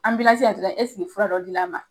Anbilansi na tɔ la eseke fura dɔ di la.